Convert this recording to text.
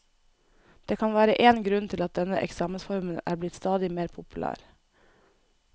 Det kan være én grunn til at denne eksamensformen er blitt stadig mer populær.